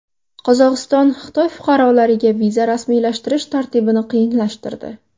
Qozog‘iston Xitoy fuqarolariga viza rasmiylashtirish tartibini qiyinlashtirdi.